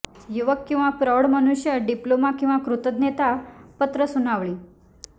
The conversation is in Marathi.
युवक किंवा प्रौढ मनुष्य डिप्लोमा किंवा कृतज्ञता पत्र सुनावली